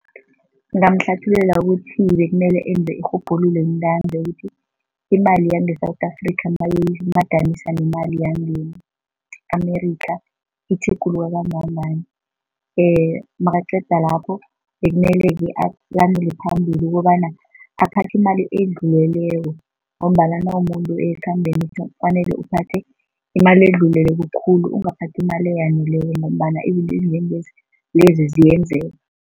Ngingamhlathululela ukuthi bekumele enze irhubhululo ntanzi ukuthi imali yange-South Africa nayimadaniswa nemali yange-America itjhuguluka kangangani nakaqeda lapho bekumele-ke alandele phambili ukobana aphathe imali edluleleko ngombana nawumumuntu ekhambeni kufanele uphathe imali edluleleko khulu, ungaphathi imali eyaneleko ngombana izinto lezi ziyenzeka.